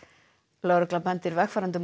lögregla bendir vegfarendum